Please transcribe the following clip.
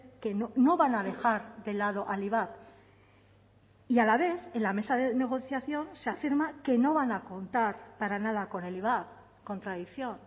que no van a dejar de lado al ivap y a la vez en la mesa de negociación se afirma que no van a contar para nada con el ivap contradicción